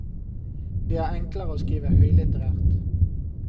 Det er enklere å skrive høylitterært.